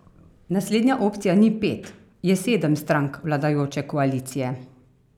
Naslednja opcija ni pet, je sedem strank vladajoče koalicije.